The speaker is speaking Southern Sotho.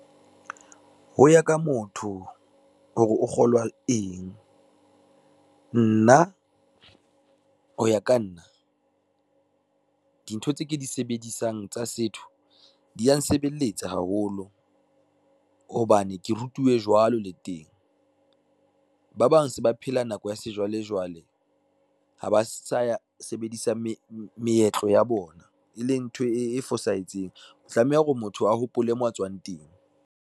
Ho ya ka motho, hore o kgolwa eng. Nna ho ya ka nna, dintho tse ke di sebedisang tsa setho di ya nsebeletsa haholo, hobane ke rutuwe jwalo le teng. Ba bang se ba phela nako ya sejwalejwale ha ba sa sebedise meetlo ya bona, e leng ntho e fosahetseng o tlameha hore motho a hopole mo a tswang teng.